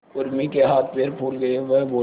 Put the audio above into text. उर्मी के हाथ पैर फूल गए वह बोली